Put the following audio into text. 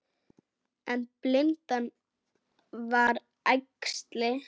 En blindan var æxli.